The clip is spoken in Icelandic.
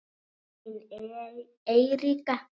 Þín Eiríka.